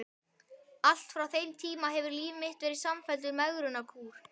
Allt frá þeim tíma hefur líf mitt verið samfelldur megrunarkúr.